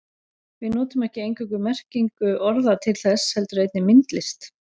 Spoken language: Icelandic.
Við notum ekki eingöngu merkingu orða til þess heldur einnig myndlist.